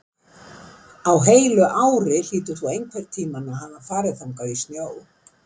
Á heilu ári hlýtur þú einhvern tíma að hafa farið þangað í snjó.